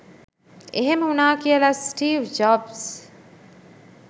එහෙම වුණා කියලා ස්ටීව් ජොබ්ස්